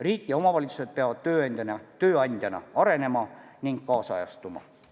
Riik ja omavalitsused peavad tööandjana arenema ning kaasajastuma.